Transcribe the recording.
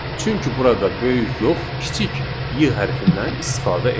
Çünki burada böyük yox, kiçik Y hərfinnən istifadə etdik.